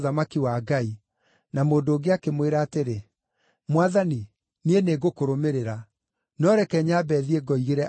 Na mũndũ ũngĩ akĩmwĩra atĩrĩ, “Mwathani, niĩ nĩngũkũrũmĩrĩra, no reke nyambe thiĩ ngoigĩre andũ aitũ ũhoro.”